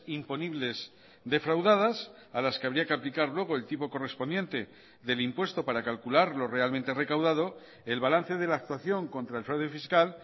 imponibles defraudadas a las que habría que aplicar luego el tipo correspondiente del impuesto para calcular lo realmente recaudado el balance de la actuación contra el fraude fiscal